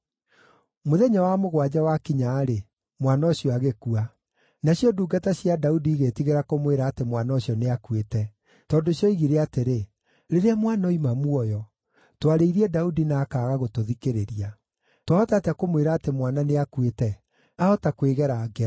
Mũthenya wa mũgwanja wakinya-rĩ, mwana ũcio agĩkua. Nacio ndungata cia Daudi igĩĩtigĩra kũmwĩra atĩ mwana ũcio nĩakuĩte. Tondũ cioigire atĩrĩ, “Rĩrĩa mwana oima muoyo, twarĩirie Daudi na akaaga gũtũthikĩrĩria. Twahota atĩa kũmwĩra atĩ mwana nĩakuĩte? Aahota kwĩgera ngero.”